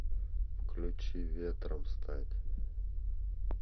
включи ветром стать